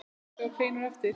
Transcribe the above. Kaffi og kleinur á eftir.